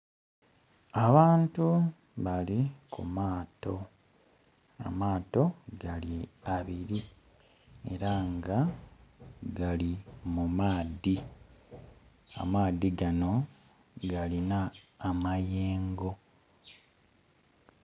Abantu bali ku maato, amaato gali abiri era nga gali mu maadhi, amaadhi gano galina amayengo.